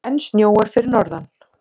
Enn snjóar fyrir norðan